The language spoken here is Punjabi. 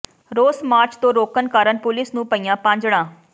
ਰੋਸ ਮਾਰਚ ਤੋਂ ਰੋਕਣ ਕਾਰਨ ਪੁਲੀਸ ਨੂੰ ਪਈਆਂ ਭਾਜੜਾਂ